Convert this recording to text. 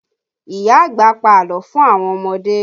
Ìyá àgbà pa àlọ́ fún àwọn ọmọdé